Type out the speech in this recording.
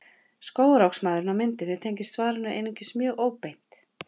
Skógarhöggsmaðurinn á myndinni tengist svarinu einungis mjög óbeint.